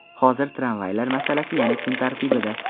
Hozir tramvaylar masalasi yana kun tartibida.